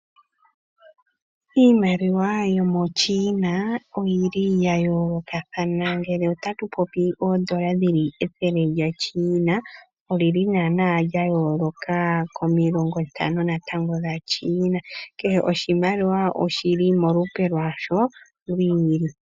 Iimaliwa yo moChina oyili ya yoolokathana. Ngele otatu popi oondola dhili ethele lya China olili naana lya yooloka komilongo ntano natango dha China. Kehe oshimaliwa sha China oshili molupe lwasho lwiili.